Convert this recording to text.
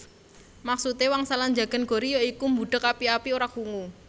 Maksude wangsalan njagan gori ya iku mbudheg api api ora krungu